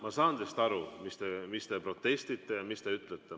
Ma saan teist aru, mille vastu te protestite ja mis te ütlete.